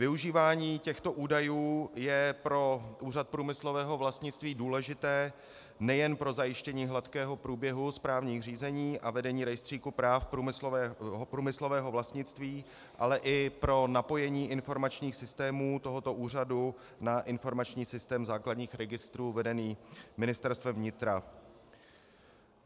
Využívání těchto údajů je pro Úřad průmyslového vlastnictví důležité nejen pro zajištění hladkého průběhu správních řízení a vedení rejstříku práv průmyslového vlastnictví, ale i pro napojení informačních systémů tohoto úřadu na informační systém základních registrů vedený Ministerstvem vnitra.